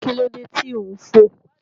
Kí ló dé tí ò ń fò?